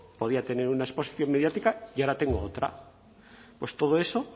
podía tener una exposición mediática y ahora tengo otra pues todo eso